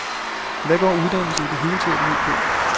Hvad går uddannelse i det hele taget ud på?